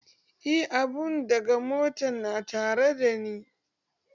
Eh, abun daga motan na tare da ni